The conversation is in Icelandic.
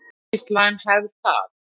Ekki slæm hefð það.